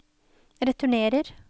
returnerer